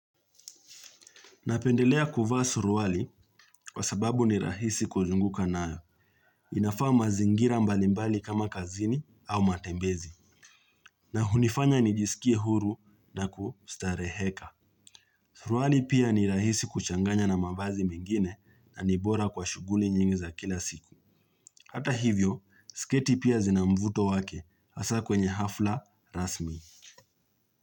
Napendelea kuvaa suruali kwa sababu ni rahisi kuzunguka nayo. Inafaa mazingira mbali mbali kama kazini au matembezi na hunifanya nijisikie huru na kustareheka. Suruali pia ni rahisi kuchanganya na mavazi mengine na ni bora kwa shughuli nyingi za kila siku. Hata hivyo, sketi pia zina mvuto wake hasa kwenye hafla rasmi.